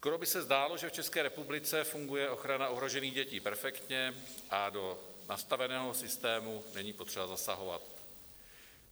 Skoro by se zdálo, že v České republice funguje ochrana ohrožených dětí perfektně a do nastaveného systému není potřeba zasahovat.